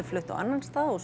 flutt á annan stað og